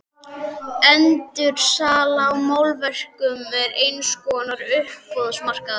Endursala á málverkum er eins konar uppboðsmarkaður.